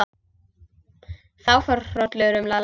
Það fór hrollur um Lalla.